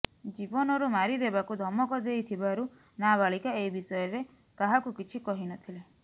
ଜୀବନରୁ ମାରିଦେବାକୁ ଧମକ ଦେଇଥିବାରୁ ନାବାଳିକା ଏ ବିଷୟରେ କାହାକୁ କିଛି କହି ନଥିଲେ